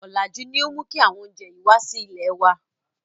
Ọ̀làjú ni ó mú kí àwọn oúnjẹ yìí wá sí ilèe wá.